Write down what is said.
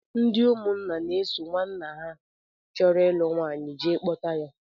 Ndị ụmụnna na-eso nwanna ha chọrọ ịlụ nwaanyị jee kpọta ya